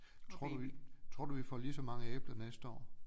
Tror du vi tror du vi får lige så mange æbler næste år